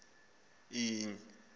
inye kuphela into